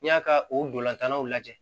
N'i y'a ka o dolantannaw lajɛ